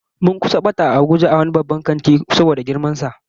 Mun kusa bata a wani babban kanti a Abuja saboda girman sa